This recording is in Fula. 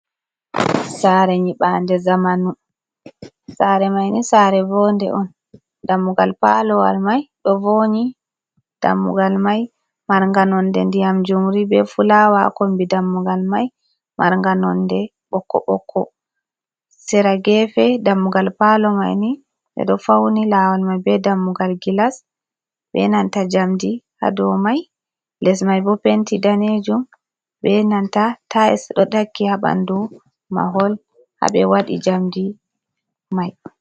Sare nyibande zamanu, sare man ni sare von de on dammugal palo wal mai ɗo vonyi, dammugal mai marga nonde ndiyam jumri be fulawa ha kombi dammugal man mara nonde ɓokko ɓokko, sera gefe dammugal palo mai ni ɓeɗo fawni lawol mai be dammugal glas ɓe nanta jamdi ha dou mai ess man bo penti danejum benanta tiles ɗo taki ha ɓandu mahol ha ɓe waɗi jamdi mai.